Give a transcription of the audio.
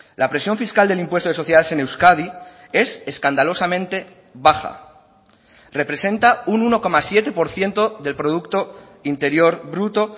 la presión fiscal del impuesto de sociedades en euskadi es escandalosamente baja representa un uno coma siete por ciento del producto interior bruto